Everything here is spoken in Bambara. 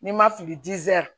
N'i ma fili